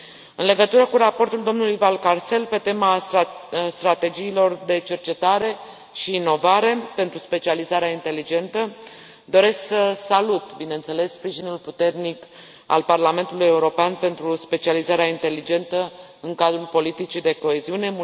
În legătură cu raportul domnului Valcárcel pe tema strategiilor de cercetare și inovare pentru specializarea inteligentă, doresc să salut, bineînțeles, sprijinul puternic al Parlamentului European pentru specializarea inteligentă în cadrul politicii de coeziune.